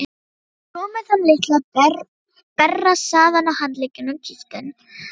Frúin með þann litla berrassaðan á handleggnum kíkti inn.